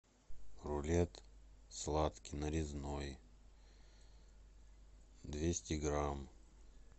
рулет сладкий нарезной двести грамм